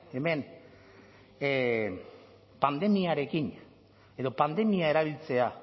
hemen pandemiarekin edo pandemia erabiltzea